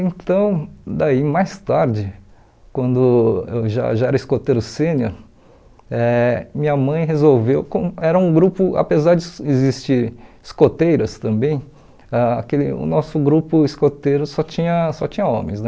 Então, daí mais tarde, quando eu já já era escoteiro sênior, eh minha mãe resolveu, com era um grupo apesar de existirem escoteiras também, ãh aquele o nosso grupo escoteiro só tinha só tinha homens, né?